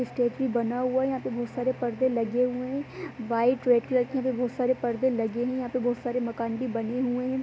बना हुआ है बहोत सारे पर्दे लगे हुए हैं वाइट रेड कलर के भी बहोत सारे पर्दे लगे है यहां पर बहोत सारे मकान भी बने हुए हैं।